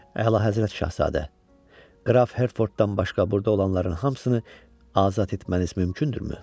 Əlahəzrət Şahzadə, Qraf Hertforddan başqa burada olanların hamısını azad etməniz mümkündürmü?